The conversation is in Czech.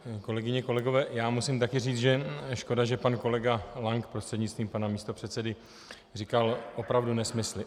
Kolegyně, kolegové, já musím také říct, že škoda, že pan kolega Lank prostřednictvím pana místopředsedy říkal opravdu nesmysly.